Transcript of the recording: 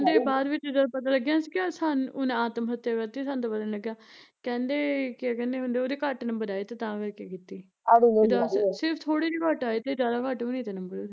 ਕਹਿੰਦੇ ਬਾਦ ਵਿੱਚ ਜਦੋਂ ਪਤਾ ਲੱਗਿਆ ਨਾ ਅਸੀਂ ਕਿਆ ਸਾਨੂੰ ਉਹਨੇ ਆਤਮ ਹੱਤਿਆ ਕਰਤੀ ਸਾਨੂੰ ਤਾਂ ਪਤਾ ਨੀ ਲੱਗਿਆ, ਕਹਿੰਦੇ ਕਿਆ ਕਹਿੰਦੇ ਹੁੰਦੇ ਉਹਦੇ ਘੱਟ ਨੰਬਰ ਆਏ ਤੇ ਤਾਂ ਕਰਕੇ ਕੀਤੀ ਵੀ ਦੱਸ, ਸਿਰਫ਼ ਥੋੜੇ ਜਹੇ ਘੱਟ ਆਏ ਤੇ ਜਾਦਾ ਘੱਟ ਵੀ ਨੀ ਤੇ ਨੰਬਰ ਉਹਦੇ